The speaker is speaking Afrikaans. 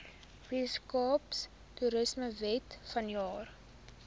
weskaapse toerismewet vanjaar